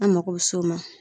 An mako be s'o ma